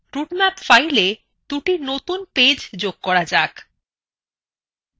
route map fileএ দুটি নতুন পেজ যোগ করা যাক